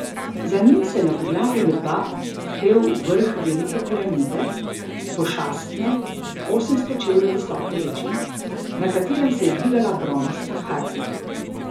Za njim se je na podlagi neba pel vrh Velike piramide, pošastne, osemsto čevljev visoke reči, na katerem se je dvigala bronasta harpija.